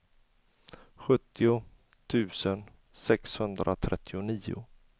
sjuttio tusen sexhundratrettionio